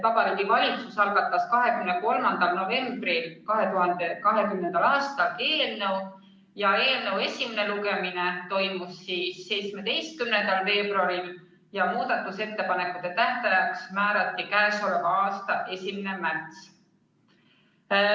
Vabariigi Valitsus algatas eelnõu 23. novembril 2020. aastal, selle esimene lugemine toimus 17. veebruaril ja muudatusettepanekute tähtajaks määrati k.a 1. märts.